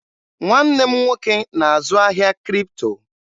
Nwanne m nwoke na-azụ ahịa Kripto.